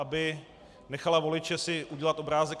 Aby nechala voliče si udělat obrázek.